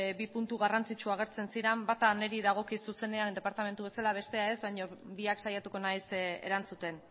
bi puntu garrantzitsu agertzen ziren bata niri dagokit zuzenean departamentu bezala bestea ez baino biak saiatuko naiz erantzuten